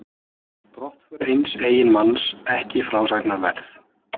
Brottför eins eiginmanns ekki frásagnarverð.